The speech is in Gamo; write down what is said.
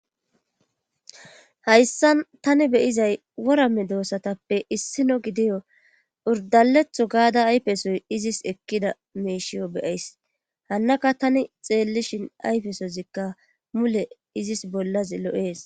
Hayssan tani beyizay worame doossatappe issino gidiyo urdaletho gaada ayfesoy izis ekkida meeshiyo beyays hannaka tani xeellishin ayfesozikka mule izis bollas lo'ees.